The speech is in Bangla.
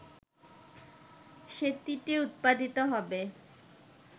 সেটিতে উৎপাদিত হবে